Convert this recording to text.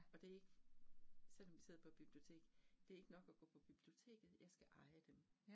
Og det ikke selvom vi sidder på et bibliotek, det ikke nok at gå på biblioteket, jeg skal eje dem